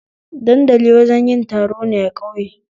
Dandali wajen yin taro ne a ƙauye